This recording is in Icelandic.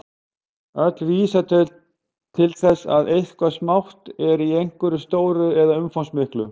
Öll vísa þau til þess að eitthvað smátt er í einhverju stóru eða umfangsmiklu.